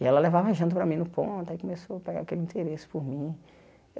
E ela levava janta para mim no ponto, aí começou a pegar aquele interesse por mim.